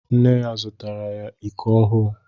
Nne ya zụtaara ya iko ọhụụ.